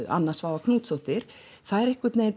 Anna Svava Knútsdóttir þær einhvern veginn